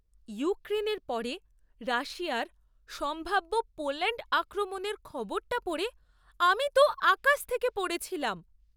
ইউক্রেনের পরে রাশিয়ার সম্ভাব্য পোল্যাণ্ড আক্রমণের খবরটা পড়ে আমি তো আকাশ থেকে পড়েছিলাম!